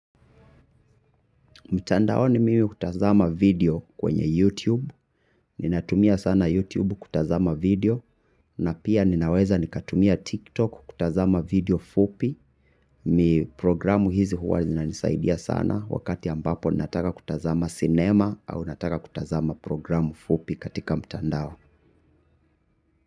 Mtandao ni mimi hutazama video kwenye YouTube, ninatumia sana YouTube kutazama video, na pia ninaweza nikatumia TikTok kutazama video fupi, mi programu hizi huwa zina nisaidia sana wakati ambapo nataka kutazama sinema au nataka kutazama programu fupi katika mtandao.